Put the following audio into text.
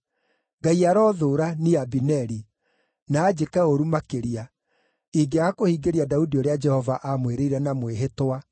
Ngai arothũũra, niĩ Abineri, na anjĩke ũũru makĩria, ingĩaga kũhingĩria Daudi ũrĩa Jehova aamwĩrĩire na mwĩhĩtwa,